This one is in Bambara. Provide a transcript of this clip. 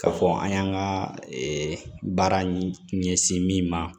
K'a fɔ an y'an ka baara ɲɛsin min ma